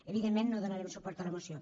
evidentment no donarem suport a la moció